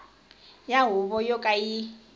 ya huvo yo ka yi